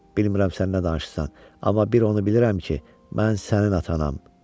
Bilmirəm sən nə danışırsan, amma bir onu bilirəm ki, mən sənin atanam.